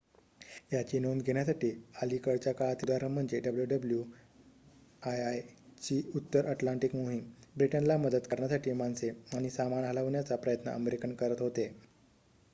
याचे नोंद घेण्यासारखे अलीकडच्या काळातील उदाहरण म्हणजे wwii ची उत्तर अटलांटिक मोहीम ब्रिटनला मदत करण्यासाठी माणसे आणि सामान हलवण्याचा प्रयत्न अमेरिकन करत होते